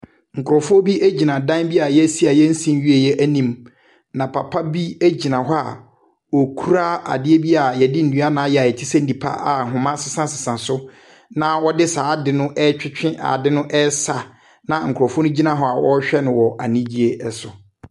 Nkorɔfo bi gyina dan bi a yɛresi a yɛnsii nwieɛ anim. Na papa bi gyina hɔ a okura adeɛ bi a yɛde nnua na ayɛ a ɛte sɛ nipa a ahoma sesasesa so na ɔde saa ade no ɛretwetwe ade no ɛresa, na nkorɔfo no gyina hɔ a wɔrehwɛ no wɔ anigyeɛ so.